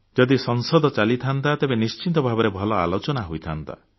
ଯଦି ସଂସଦ ଚାଲିଥାନ୍ତା ତେବେ ନିଶ୍ଚିତ ଭାବରେ ଭଲ ଆଲୋଚନା ହୋଇଥାନ୍ତା